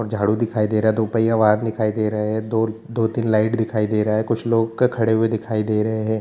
और झाड़ू दिखाई दे रहा दो पहिया वह आदमी दिखाई दे रहा है दो दो-तीन लाइट दिखाई दे रहा है कुछ लोग का खड़े हुए दिखाई दे रहे हैं।